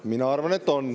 Mina arvan, et on.